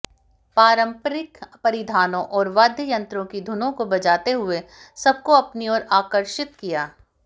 पारंपरिक परिधानों और वाद्य यंत्रों की धुनों को बजाते हुए सबको अपनी ओर आकर्षित किया